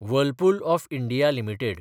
Whirlpool of India limited